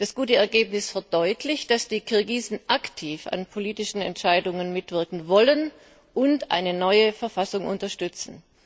Das gute Ergebnis verdeutlicht, dass die Kirgisen aktiv an politischen Entscheidungen mitwirken wollen und eine neue Verfassung unterstützen.